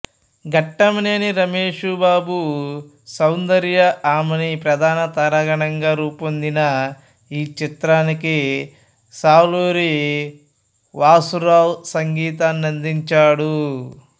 ఘట్టమనేని రమేష్ బాబు సౌందర్య ఆమని ప్రధాన తారాగణంగా రూపొందిన ఈ చిత్రానికి సాలూరి వాసూరావు సంగీతాన్నందించాడు